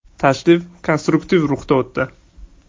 Tashrif konstruktiv ruhda o‘tdi.